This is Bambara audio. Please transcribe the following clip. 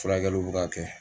Furakɛliw bɛ k'a kɛ